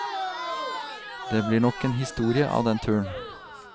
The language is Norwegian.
Det blir nok en historie av den turen.